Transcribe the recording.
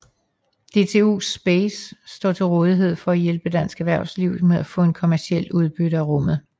DTU Space står til rådighed for at hjælpe dansk erhvervsliv med at få kommercielt udbytte af rummet